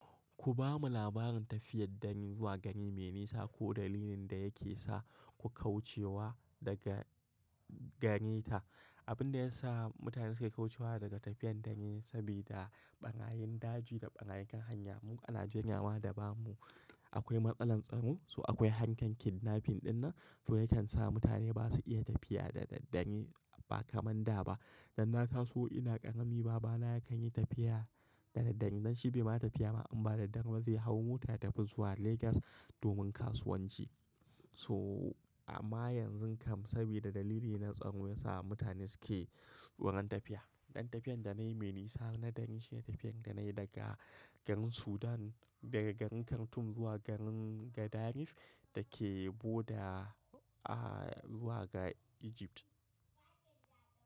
Ku bamu labarin tafiyar dangi zuwa gari me nisa ko dalilin da yake sa ku kaucewa daga ganye ta. Abin da ya sa mutane suke kaucewa daga tafiyar dangi saboda ɓarayin daji da ɓarayin kan hanya. Mu ana janyawa da bamu akwai matsalar tsaro, so akwai hankan kidnapping dinnan. To yakelan sa mutane basa iya tafiya da daddare ba kamar da ba. Danna taso ina ƙarami babana yakan yi tafiya da daddare, dan shi bai ma tafiya ba, amma da daddare zai hau mota ya tafi zuwa Legas domin kasuwanci. So amma yanzu kam saboda dalili na tsaro ya sa mutane suke wurin tafiya. Dan tafiyan da nayi me nisa na dare shine tafiyan da nayi daga garin Sudan, daga garin Khartoum zuwa garin Gadaref dake boda, ah, zuwa ga Egypt.